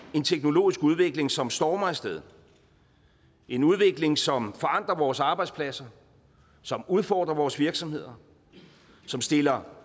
en teknologisk udvikling som stormer af sted en udvikling som forandrer vores arbejdspladser som udfordrer vores virksomheder som stiller